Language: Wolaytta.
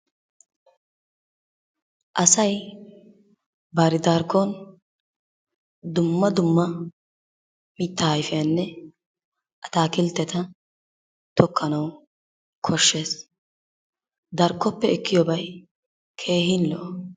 Asay bari darkkon dumma dumma mittaa ayfiyanne ataakiltteta tokkanawu koshshees. Darkkoppe ekkiyobay keehin lo'o.